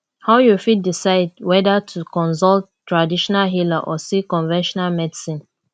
how you fit decide whether to consult traditional healer or seek conventional medicine